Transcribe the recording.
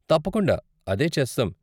తప్పకుండా, అదే చేస్తాం.